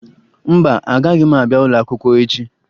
Mba, agaghị m abịa ụlọakwụkwọ echi